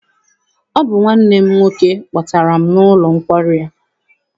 Ọ bụ nwanne m nwoke kpọtara m n'ụlọ nkwari a.